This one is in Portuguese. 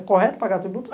É correto pagar tributo?